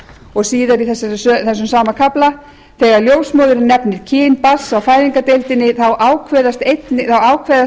stúlku síðar í þessum sama kafla þegar ljósmóðirin nefnir kyn barns á fæðingardeildinni ákveðst einnig það